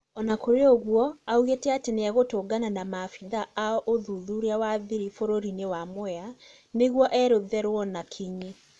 Ona kũrĩ ũguo augĩte atĩ nĩegũtũngana na maabithaa a ũthuthuria wa thiri bũrũrinĩ wa Mwea nĩguo eretheruo na Kinyi